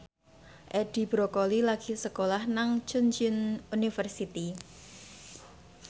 Edi Brokoli lagi sekolah nang Chungceong University